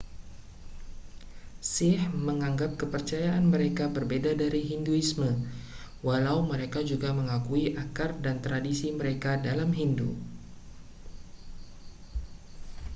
sikh menganggap kepercayaan mereka berbeda dari hinduisme walau mereka juga mengakui akar dan tradisi mereka dalam hindu